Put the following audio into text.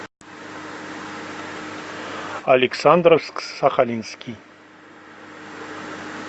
александровск сахалинский